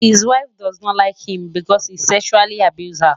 his wife doesn't like him because he sexually abuses her